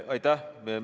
Aitäh!